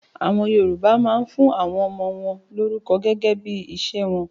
AÀwọn Yorùbá máa ń fún àwọn ọmọ wọn lórúkọ gẹ́gẹ́ bí iṣẹ́ wọn